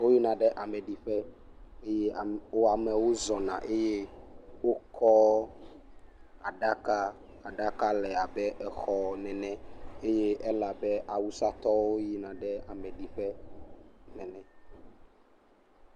Woyina ɖe ame ɖiƒe eye amewo zɔna eye wokɔ aɖaka. Aɖaka le abe exɔ nene eye ele abe awusatɔwo yina ɖe ameɖiƒe nene.